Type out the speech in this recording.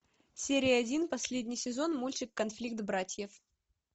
серия один последний сезон мультик конфликт братьев